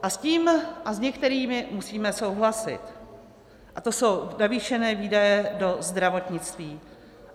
A s tím a s některými musíme souhlasit, a to jsou navýšené výdaje do zdravotnictví.